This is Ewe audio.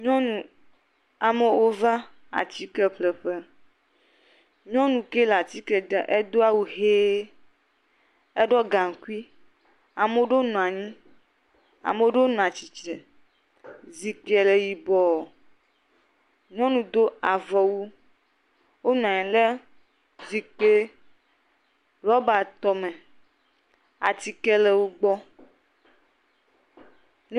Nyɔnu, amewo va atike ƒle ƒe, nyɔnu ke le atike dzra, edo awu ʋe, eɖɔ gaŋkui, ame ɖewo nɔ anyi, ame ɖewo nɔ atsitre, zikpuie le yibɔ, nyɔnu do avɔwu, wonɔ anyi ɖe zikpui rɔbatɔ me, atike le wo gbɔ.